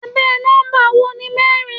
Abẹ́ nọ́mbà wo ni mẹ́rin?